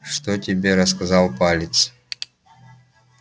что тебе рассказал палец